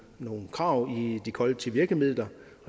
nogle krav i de kollektive virkemidler